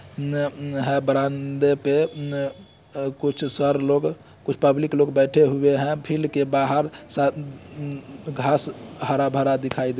म-म बरांडे पे कुछ सर लोग कुछ पब्लिक लोग बैठे हुए है फील्ड के बाहर सा ऊब-ऊब घास हरा-भरा दिखाई--